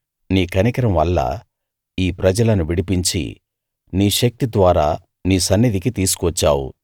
నీ కనికరం వల్ల ఈ ప్రజలను విడిపించి నీ శక్తి ద్వారా నీ సన్నిధికి తీసుకువచ్చావు